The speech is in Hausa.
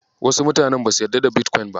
Wasu mutanen basu yarda da Bitcoin ba.